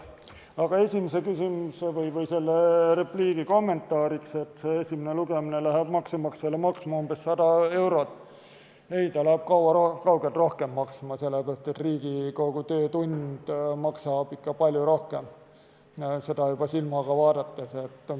Aga esimese küsimuse või repliigi, et esimene lugemine läheb maksumaksjale maksma umbes 100 eurot, kommentaariks ütlen, et ei, see läheb kaugelt rohkem maksma, sest Riigikogu töötund maksab ikka palju rohkem, juba silmaga vaadates.